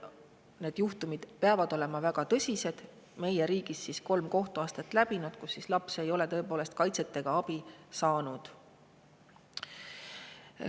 Need juhtumid peavad olema väga tõsised ja olema läbinud meie riigis kolm kohtuastet, mille käigus ei ole laps kaitset ega abi saanud.